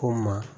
Ko maa